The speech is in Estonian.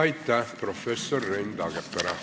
Aitäh, professor Rein Taagepera!